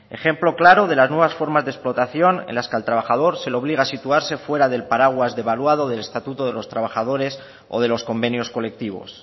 ejemplo claro de las nuevas formas de explotación en las que al trabajador se le obliga a situarse fuera del paraguas devaluado del estatuto de los trabajadores o de los convenios colectivos